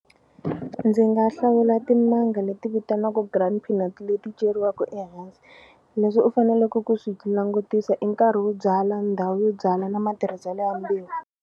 Ndzi nga hlawula timanga leti vitaniwaka peanuts leti ceriwaku leswi u faneleke ku swi langutisa i nkarhi wo byala ndhawu yo byala na matirhiselo ya mbewu.